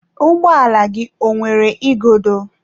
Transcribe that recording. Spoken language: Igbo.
Ụgbọala gị ọ nwere igodo?